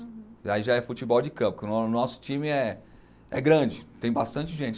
Uhum. Aí já é futebol de campo, porque o nosso time é é grande, tem bastante gente.